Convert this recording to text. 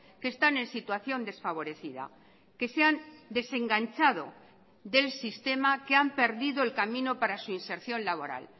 que están en situación desfavorecida que se han desenganchado del sistema que han perdido el camino para su inserción laboral